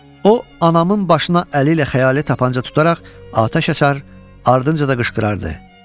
O, anamın başına əli ilə xəyali tapança tutaraq atəş açar, ardınca da qışqırırdı.